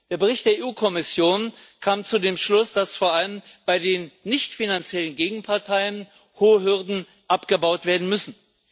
Der Bericht der EU Kommission kam zu dem Schluss, dass vor allem bei den nichtfinanziellen Gegenparteien hohe Hürden abgebaut werden müssen.